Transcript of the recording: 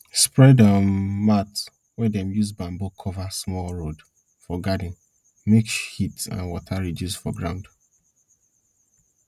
spread um mat wey dem use bamboo cover small road for garden make heat and water reduce from ground